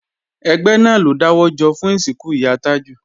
Ẹgbẹ́ náà ló dáwọ́ jọ fún ìsìnkú ìyá Tájù